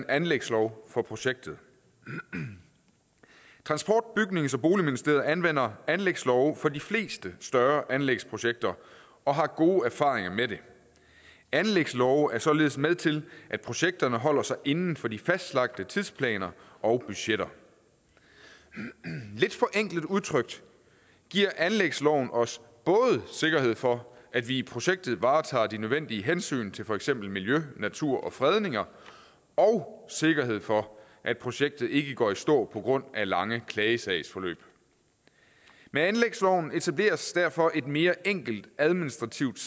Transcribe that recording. anlægslov for projektet transport bygnings og boligministeriet anvender anlægslove for de fleste større anlægsprojekter og har gode erfaringer med det anlægslove er således med til at projekterne holder sig inden for de fastlagte tidsplaner og budgetter lidt forenklet udtrykt giver anlægsloven os både sikkerhed for at vi i projektet varetager de nødvendige hensyn til for eksempel miljø natur og fredninger og sikkerhed for at projektet ikke går i stå på grund af lange klagesagsforløb med anlægsloven etableres derfor et mere enkelt administrativt